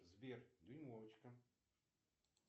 сбер дюймовочка